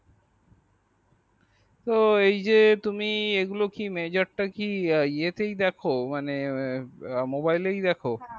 এই যে তুমি এই গুলো কি mejar টা কি এই এ তেই দ্যাখো মানে mobile এ দেখো